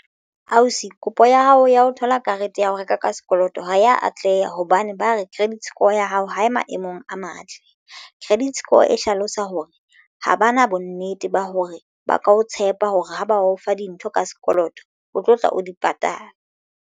Ausi kopo ya hao ya ho thola karete ya ho reka ka sekoloto ho ya atleha hobane ba re credit score ya hao ha e maemong a matle, credit score e hlalosa hore ha ba na bonnete ba hore ba ka o tshepa hore ha ba o fa dintho ka sekoloto, o tlo tla o di patala.